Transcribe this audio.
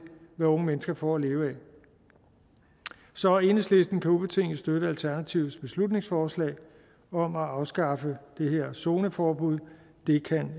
hvad unge mennesker får at leve af så enhedslisten kan ubetinget støtte alternativets beslutningsforslag om at afskaffe det her zoneforbud det kan